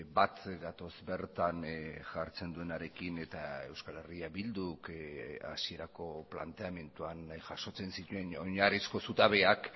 bat gatoz bertan jartzen duenarekin eta euskal herria bilduk hasierako planteamenduan jasotzen zituen oinarrizko zutabeak